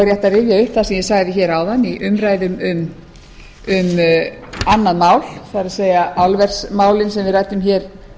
upp það sem ég sagði hér áðan í umræðum um annað mál það er álversmálin sem við ræddum hér